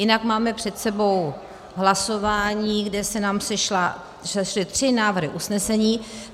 Jinak máme před sebou hlasování, kde se nám sešly tři návrhy usnesení.